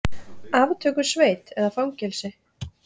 Aftökusveit eða fangelsi?